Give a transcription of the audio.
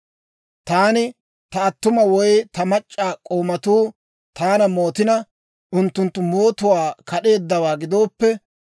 «Taani ta attuma woy ta mac'c'a k'oomatuu taana mootina, unttunttu mootuwaa kad'eeddawaa gidooppe,